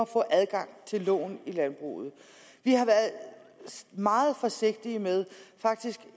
få adgang til lån i landbruget vi har været meget forsigtige med faktisk